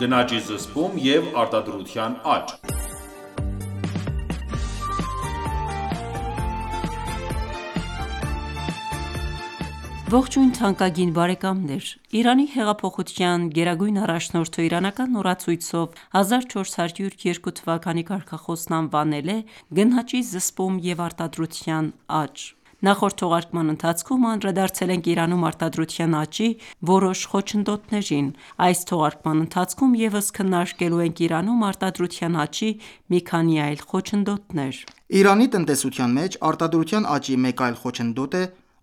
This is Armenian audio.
գնաճի զսպում և արտադրության աճ (21) Իրանի Հեղափոխության գերագույն առաջնորդը իրանական օրացույցով 1402 թվականի կարգախոսն անվանել է «գնաճի զսպում և արտադրության աճ»: Նախորդ թողարկման ընթացքում անդրադարձել ենք Իրանում արտադրության աճի որոշ խոչընդոտներին, իսկ այս թողարկման ընթացքում ևս քննարկելու ենք Իրանում արտադրության աճի մի քանի այլ խոչընդոտներ։ Անխնա ներմուծում Իրանի տնտեսության մեջ արտադրության աճի մեկ այլ խոչընդոտ է